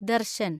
Darshan